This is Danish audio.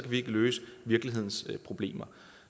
vi ikke løse virkelighedens problemer